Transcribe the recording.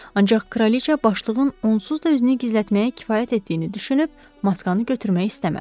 Ancaq kraliça başlığın onsuz da üzünü gizlətməyə kifayət etdiyini düşünüb maskanı götürmək istəmədi.